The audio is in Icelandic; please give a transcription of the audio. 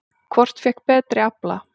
Hvort fékk betri afla?